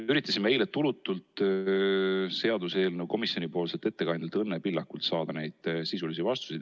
Üritasime eile tulutult seaduseelnõu komisjonipoolselt ettekandjalt Õnne Pillakult saada sisulisi vastuseid.